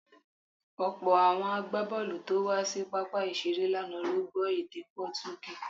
Ọ̀pọ̀ àwọn agbábọ̀ọ̀lù tó wá sí pápá ìṣeré lánàá ló gbọ́ èdè Pọtugí.